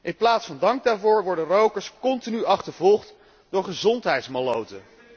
In plaats van dank daarvoor worden rokers continu achtervolgd door gezondheidsmalloten.